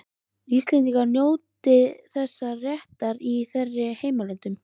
Íslendingar njóti þessa réttar í þeirra heimalöndum.